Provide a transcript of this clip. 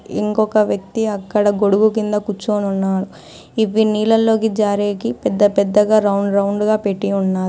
ఇంకొక వ్యక్తి అక్కడ గొడుగు కింద కూర్చొనున్నాడు ఇవి నీళ్లలోకి జారేకి పెద్ద పెద్దగా రౌండ్ రౌండ్ గా పెట్టి ఉన్నా--